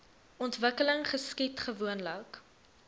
ontwikkeling geskied gewoonlik